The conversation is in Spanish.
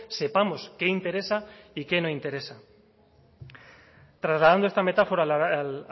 sepamos qué interesa y qué no interesa trasladando esta metáfora al